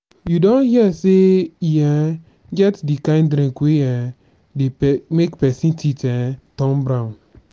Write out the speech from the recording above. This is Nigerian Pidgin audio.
you don hear sey e um get di kind drink wey um dey make pesin teeth um turn brown.